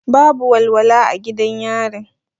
Babu walwala a gidan yarin.